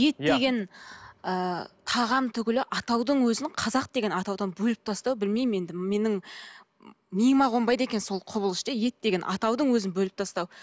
ет деген ы тағам түгілі атаудың өзінің қазақ деген атаудан бөліп тастау білмеймін енді менің миыма қонбайды екен сол құбылыс ше ет деген атаудың өзін бөліп тастау